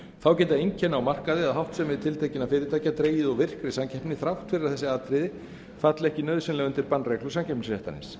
þá geta einkenni á markaði eða háttsemi tiltekinna fyrirtækja dregið úr virkri samkeppni þrátt fyrir að þessi atriði falli ekki nauðsynlega undir bannreglur samkeppnisréttarins